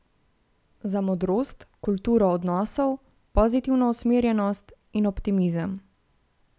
Za modrost, kulturo odnosov, pozitivno usmerjenost in optimizem.